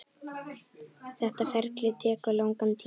Þetta ferli tekur langan tíma.